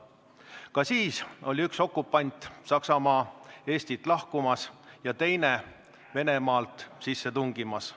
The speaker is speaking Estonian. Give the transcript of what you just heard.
Ka siis oli üks okupant, Saksamaa, Eestist lahkumas ja teine Venemaalt sisse tungimas.